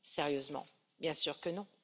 Sérieusement, bien sûr que non!